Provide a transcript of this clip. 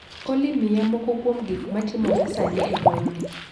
olly miya moko kuom gik matimore sani e gweng ni